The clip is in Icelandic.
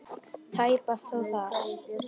Tæpast þó þar.